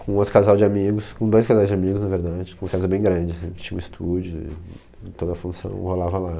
com outro casal de amigos, com dois casais de amigos, na verdade, com uma casa bem grande assim, tinha um estúdio, toda a função rolava lá.